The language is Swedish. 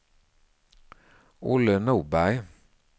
Olle Norberg